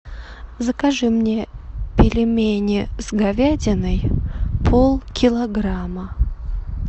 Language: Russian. закажи мне пельмени с говядиной полкилограмма